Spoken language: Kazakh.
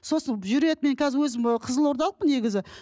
сосын жүреді мен қазір өзім і қызылордалықпын негізі